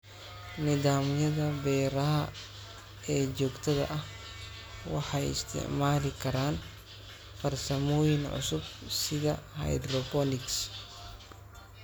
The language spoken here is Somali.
Nidaamyada beeraha ee joogtada ah waxay isticmaali karaan farsamooyin cusub sida hydroponics.